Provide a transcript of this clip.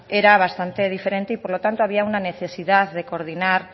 era bastante diferente y por lo tanto había una necesidad de coordinar